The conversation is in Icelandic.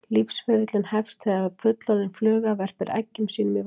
Lífsferillinn hefst þegar fullorðin fluga verpir eggjum sínum í vatn.